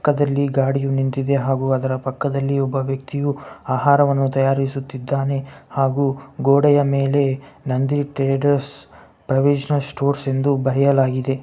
ಪಕ್ಕದಲ್ಲಿ ಗಾಡಿಯು ನಿಂತಿದೆ ಹಾಗು ಅದರ ಪಕ್ಕದಲ್ಲಿ ಒಬ್ಬ ವ್ಯಕ್ತಿಯು ಆಹಾರವನ್ನು ತಯಾರಿಸುತ್ತಿದ್ದನಿ ಹಾಗು ಗೋಡೆಯ ಮೇಲೆ ನಂದಿ ಟ್ರೇಡರ್ಸ್ ಪ್ರವೀಸನಲ್ ಸ್ಟೋರ್ಸ್ ಎಂದು ಬರೆಯಲಾಗಿದೆ.